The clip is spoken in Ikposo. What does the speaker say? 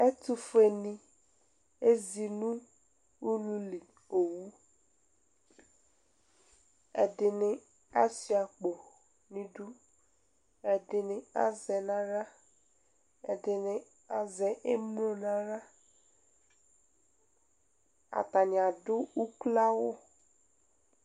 Ɛtʋfue ni ezi nʋ ululi owu Ɛdini asua akpo n'idu, ɛdini azɛ n'aɣla, ɛdini azɛ emlo n'aɣla Atani adʋ uklo awʋ